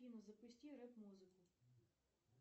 афина запусти рэп музыку